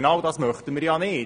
Genau das möchten wir nicht.